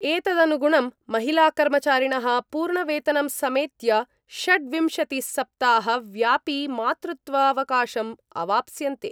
एतदनुगुणं महिलाकर्मचारिणः पूर्ण वेतनं समेत्य षड्विंशतिसप्ताहव्यापिमातृत्वावकाशम् अवाप्स्यन्ते।